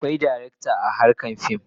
Akwai darakta a harkar fim.